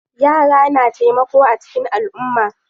Yara na taimako a cikin alumma.